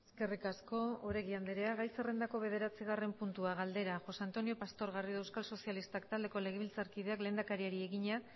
eskerrik asko oregi andrea gai zerrendako bederatzigarren puntua galdera josé antonio pastor garrido euskal sozialistak taldeko legebiltzarkideak lehendakariari egina